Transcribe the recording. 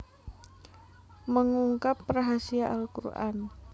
Mengungkap Rahasia Al Qur an